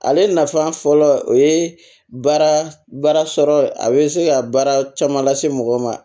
Ale nafa fɔlɔ o ye baara baara baara sɔrɔ a bɛ se ka baara caman lase mɔgɔ ma